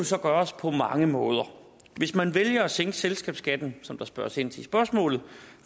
så gøres på mange måder hvis man vælger at sænke selskabsskatten som der spørges ind til i spørgsmålet